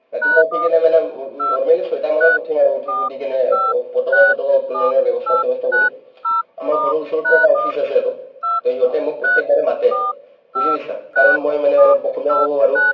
ৰাতিপুৱা উঠি কিনে মানে normally ছয়টামানত উঠিম আৰু উঠি-চুঠি কিনে ক পতকা-চটকা উত্তোলনৰ বেবস্থা-চেবস্থা কৰিম আমাৰ ঘৰৰ ওচৰতে এটা office আছে আৰু to সিহঁতে মোক প্ৰতেকবাৰে মাতে বুজি পাইছা কাৰণ মই মানে অলপ অসমীয়াও অলপ ক'ব পাৰো